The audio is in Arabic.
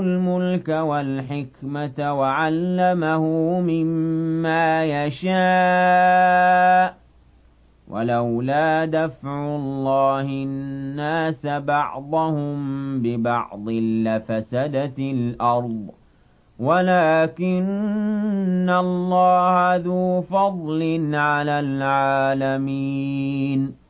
الْمُلْكَ وَالْحِكْمَةَ وَعَلَّمَهُ مِمَّا يَشَاءُ ۗ وَلَوْلَا دَفْعُ اللَّهِ النَّاسَ بَعْضَهُم بِبَعْضٍ لَّفَسَدَتِ الْأَرْضُ وَلَٰكِنَّ اللَّهَ ذُو فَضْلٍ عَلَى الْعَالَمِينَ